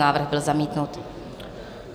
Návrh byl zamítnut.